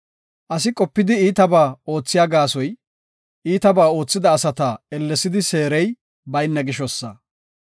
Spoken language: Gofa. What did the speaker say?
Asi qopidi iitabaa oothiya gaasoy, iitabaa oothida asata ellesidi seerey bayna gishosa.